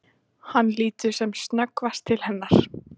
Hann lítur sem snöggvast til hennar.